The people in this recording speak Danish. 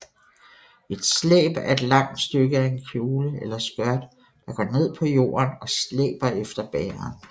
Et slæb er et langt stykke af en kjole eller skørt der går ned på jorden og slæber efter bæreren